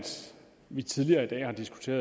sverige